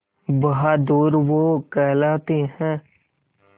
बहादुर वो कहलाते हैं